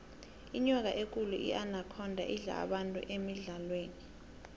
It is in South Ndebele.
inyoka ekulu inakhonda idla abantu emidlalweni